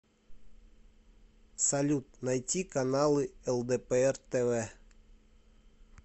салют найти каналы лдпр тв